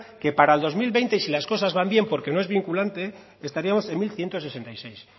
que para el dos mil veinte y si las cosas van bien porque no es vinculante estaríamos en mil ciento sesenta y seis